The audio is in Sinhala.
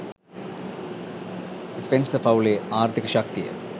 ස්පෙන්සර් පවුලේ ආර්ථීක ශක්තිය